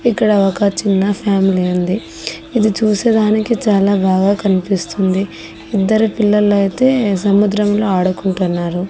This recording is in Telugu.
ఇక్కడ ఒక చిన్న ఫ్యామిలీ ఉంది ఇది చూసేదానికి చాలా బాగా కనిపిస్తుంది ఇద్దరు పిల్లలు అయితే సముద్రంలో ఆడుకుంటున్నారు.